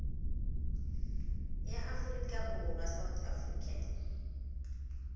ya aforika borwa south african